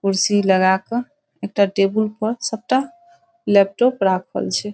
कुर्सी लगा के एकटा टेबुल पर सबटा लैपटॉप राखल छै।